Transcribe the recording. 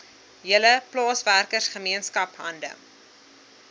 hele plaaswerkergemeenskap hande